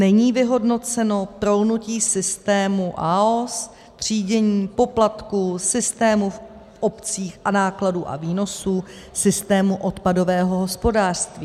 Není vyhodnoceno prolnutí systému AOS, třídění, poplatků, systému v obcích a nákladů a výnosů systému odpadového hospodářství.